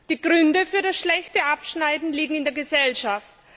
Die Gründe für das schlechte Abschneiden liegen in der Gesellschaft.